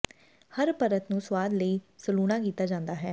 ਹਰ ਪਰਤ ਨੂੰ ਸੁਆਦ ਲਈ ਸਲੂਣਾ ਕੀਤਾ ਜਾਂਦਾ ਹੈ